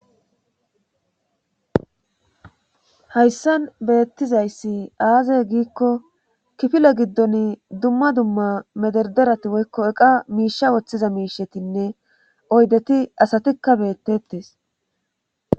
hayssan beettizayssi aaze giikko kifile giddon dumma dumma mederderati woykko eqa miisha woththiza miishetinne oydeti asatikka beettettes